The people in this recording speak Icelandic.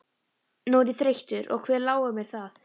Nú er ég þreyttur og hver láir mér það.